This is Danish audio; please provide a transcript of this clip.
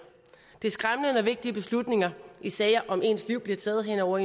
det er skræmmende når vigtige beslutninger i sager om ens liv bliver taget hen over